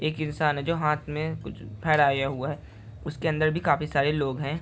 एक इंसान है जो हाथ में कुछ फेहराया हुआ है उसके अंदर भी काफी सारे लोग हैं।